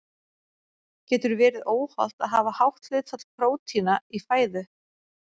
Getur verið óhollt að hafa hátt hlutfall prótína í fæðu?